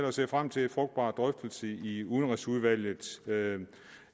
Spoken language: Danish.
og ser frem til en frugtbar drøftelse i udenrigsudvalget